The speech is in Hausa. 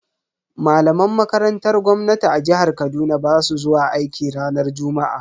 Malaman makarantar gwamnati a jihar Kaduna basu zuwa aiki ranar juma'a.